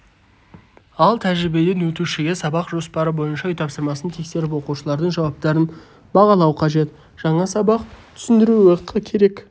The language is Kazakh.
ал тәжірибеден өтушіге сабақ жоспары бойынша үй тапсырмасын тексеріп оқушылардың жауаптарын бағалау қажет жаңа сабақ түсіндіруі керек